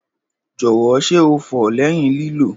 Jọwọ ṣe o fọ lẹhin lilo?